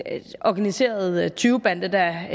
organiseret tyvebande der